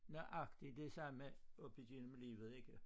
Nøjagtig det samme op igennem livet ikke